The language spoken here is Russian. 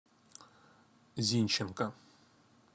зинченко